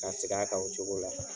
K'a seg'a kan o cogo la.